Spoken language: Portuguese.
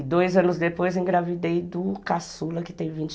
E dois anos depois engravidei do caçula, que tem vinte